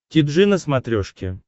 ти джи на смотрешке